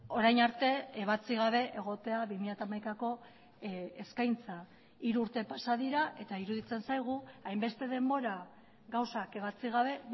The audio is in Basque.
orain arte ebatzi gabe egotea bi mila hamaikako eskaintza hiru urte pasa dira eta iruditzen zaigu hainbeste denbora gauzak ebatzi gabe